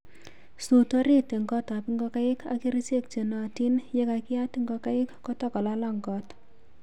suut orit eng gotab ngokaik ak kerichek che nootin yekakiyat ngokaik kota kolalang koot.